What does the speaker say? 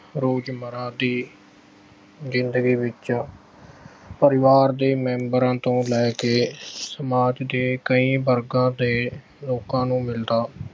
ਰੋਜ਼ਮਰ੍ਹਾ ਦੀ ਜਿੰਦਗੀ ਵਿੱਚ। ਪਰਿਵਾਰ ਦੇ members ਤੋਂ ਲੈ ਕੇ ਸਮਾਜ ਦੇ ਕਈ ਵਰਗਾਂ ਦੇ ਲੋਕਾਂ ਨੂੰ ਮਿਲਦਾ